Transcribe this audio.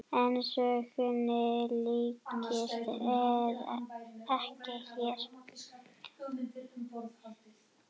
En sögunni lýkur ekki hér.